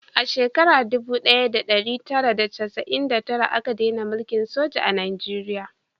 A shekara dubu daya da dari tara da chasa'in da tara a ka dena mulkin soja a najeriya